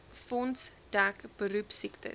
fonds dek beroepsiektes